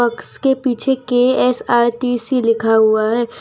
इसके पीछे के_एस_आर_टी_सी लिखा हुआ है।